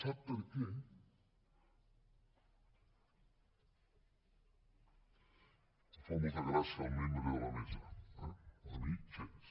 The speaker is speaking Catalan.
sap per què li fa molta gràcia al membre de la mesa eh a mi gens